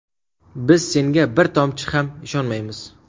Biz senga bir tomchi ham ishonmaymiz.